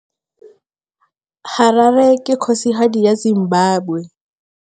Harare ke kgosigadi ya Zimbabwe.